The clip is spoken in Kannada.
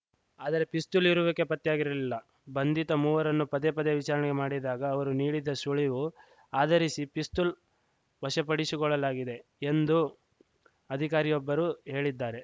ಆದರೆ ಪಿಸ್ತೂಲ್‌ ಇರುವಿಕೆ ಪತ್ತೆಯಾಗಿರಲಿಲ್ಲ ಬಂಧಿತ ಮೂವರನ್ನು ಪದೇ ಪದೇ ವಿಚಾರಣೆ ಮಾಡಿದಾಗ ಅವರು ನೀಡಿದ ಸುಳಿವು ಆಧರಿಸಿ ಪಿಸ್ತೂಲು ವಶಪಡಿಶಿ ಕೊಳ್ಳಲಾಗಿದೆ ಎಂದು ಅಧಿಕಾರಿಯೊಬ್ಬರು ಹೇಳಿದ್ದಾರೆ